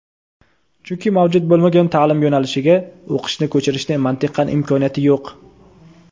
chunki mavjud bo‘lmagan taʼlim yo‘nalishiga o‘qishni ko‘chirishni mantiqan imkoniyati yo‘q.